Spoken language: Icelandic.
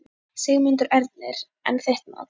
Sigmundur Ernir: En þitt mat?